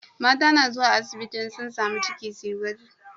Mata na zuwa asibiti in sun samu ciki suyi gwaji